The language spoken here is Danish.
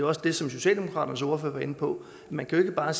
også det som socialdemokraternes ordfører var inde på man kan ikke bare